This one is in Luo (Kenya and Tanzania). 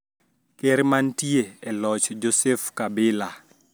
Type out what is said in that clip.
Ker mantie e loch Joseph Kabila